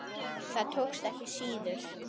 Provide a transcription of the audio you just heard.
Það tókst síður.